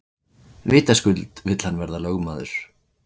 Vitaskuld vill hann verða lögmaður.